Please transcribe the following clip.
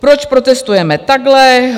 Proč protestujeme takhle?